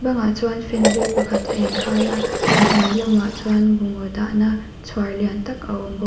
bangah chuan fan hlui pakhat a inkhai a a hnuai lamah chuan bungraw dahna chhuar lian tak a awm bawk.